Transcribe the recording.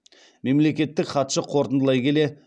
мемлекеттік хатшы қорытындылай келе